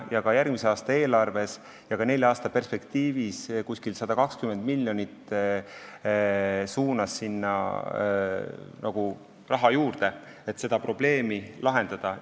Ka järgmise aasta eelarves ja nelja aasta perspektiivis on suunatud sinna 120 miljonit eurot juurde, et seda probleemi lahendada.